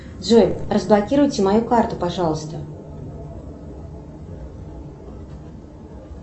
джой разблокируйте мою карту пожалуйста